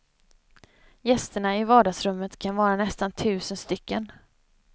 Gästerna i vardagsrummet kan vara nästan tusen stycken.